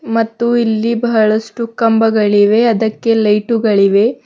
ಮತ್ತು ಇಲ್ಲಿ ಬಹಳಷ್ಟು ಕಂಬಗಳಿವೆ ಅದಕ್ಕೆ ಲೈಟು ಗಳಿವೆ.